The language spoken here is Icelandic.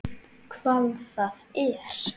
Hvað það er?